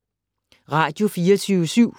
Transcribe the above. Radio24syv